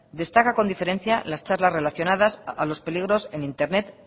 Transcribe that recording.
destaca con diferencia las charlas relacionadas a los peligros en internet